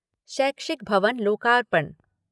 शैक्षिक भवन लोकार्पण